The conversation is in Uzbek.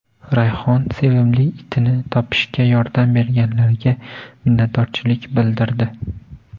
Rayhon sevimli itini topishga yordam berganlarga minnatdorchilik bildirdi.